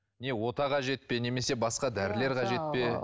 не ота қажет пе немесе басқа дәрілер қажет пе